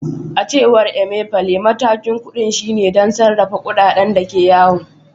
A cewar Emefiele, matakin kudin shine don sarrafa kudaden da ke yawo.